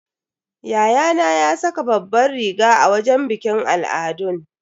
Yayana ya saka babbar riga a wajen bikin al'adun.